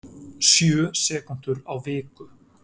Sjö sekúndur á viku